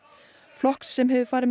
flokks sem hefur farið